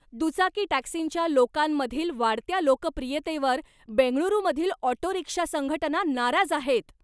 दुचाकी टॅक्सींच्या लोकांमधील वाढत्या लोकप्रियतेवर बेंगळुरूमधील ऑटो रिक्षा संघटना नाराज आहेत.